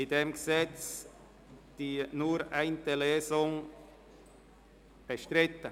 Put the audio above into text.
Ist bei diesem Gesetz die Durchführung von nur einer Lesung bestritten?